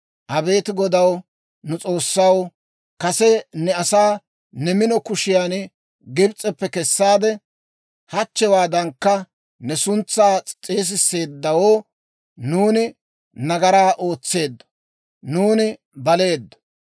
«Abeet Godaw, nu S'oossaw, kase ne asaa ne mino kushiyan Gibs'eppe kessaade, hachchewaadankka ne suntsaa s'eesisseeddawo, nuuni nagaraa ootseeddo; nuuni baleeddo.